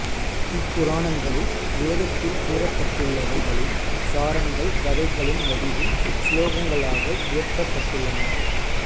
இப்புராணங்களில் வேதத்தில் கூறப்பட்டுள்ளவைகளின் சாரங்கள் கதைகளின் வடிவில் ஸ்லோகங்களாக இயற்றப்பட்டுள்ளன